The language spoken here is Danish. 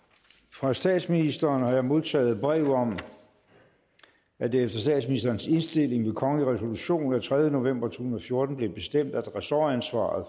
fra statsministeren har jeg modtaget brev om at det efter statsministerens indstilling ved kongelig resolution af tredje november to tusind og fjorten blev bestemt at ressortansvaret